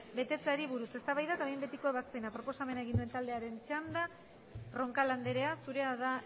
betetzeari buruz eztabaida eta behin betiko ebazpena proposamena egin duen taldearen txanda roncal andrea zurea da